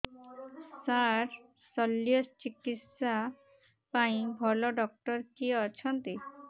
ସାର ଶଲ୍ୟଚିକିତ୍ସା ପାଇଁ ଭଲ ଡକ୍ଟର କିଏ ଅଛନ୍ତି